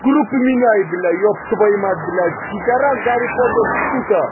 группа поменяй блять ебтвою мать блять пидарас гарри поттер сука